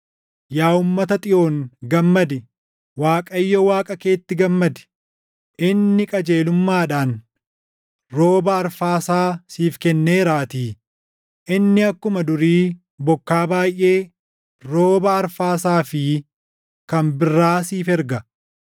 Yaa uummata Xiyoon gammadi; Waaqayyo Waaqa keetti gammadi; inni qajeelummaadhaan rooba arfaasaa siif kenneeraatii. Inni akkuma durii bokkaa baayʼee, rooba arfaasaa fi kan birraa siif erga.